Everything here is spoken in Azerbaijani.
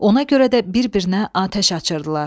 Ona görə də bir-birinə atəş açırdılar.